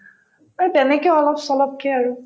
এই তেনেকে অলপ-চলপকে আৰু